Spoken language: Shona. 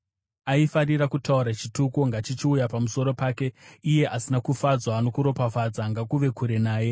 Aifarira kutaura chituko, ngachichiuya pamusoro pake; iye asina kufadzwa nokuropafadza, ngakuve kure naye.